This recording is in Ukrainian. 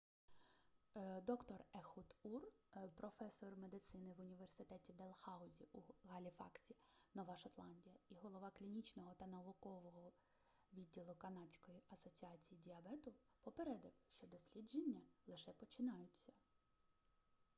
д-р ехуд ур професор медицини в університеті делхаузі у галіфаксі нова шотландія і голова клінічного та наукового відділу канадської асоціації діабету попередив що дослідження лише починаються